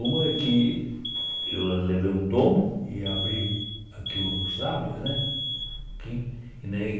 Uma é que eu levei um tombo e abri aqui os lábios, né? Que nem